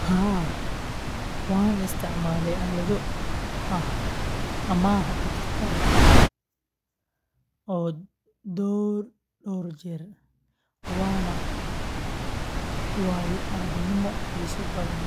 Haa, waxaan isticmaalay aalado amaah dijitaal ah dhowr jeer, waana waayo-aragnimo xiiso badan